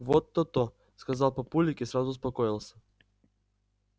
вот то-то сказал папулик и сразу успокоился